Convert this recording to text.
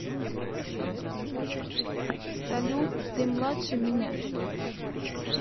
салют ты младше меня